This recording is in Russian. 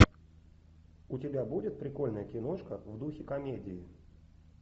у тебя будет прикольная киношка в духе комедии